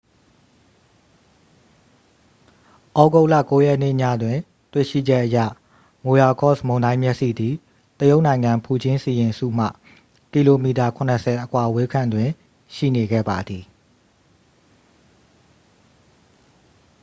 သြဂုတ်လ 9 ရက်နေ့ညတွင်တွေ့ရှိချက်အရ မိုရာကော့စ် မုန်တိုင်းမျက်စိသည် တရုတ်နိုင်ငံ ဖူကျင်းစီရင်စုမှ ကီလိုမီတာ ခုနစ်ဆယ် အကွာအဝေးခန့်တွင် ရှိနေခဲ့ပါသည်